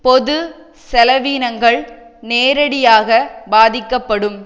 பொது செலவினங்கள் நேரடியாக பாதிக்கப்படும்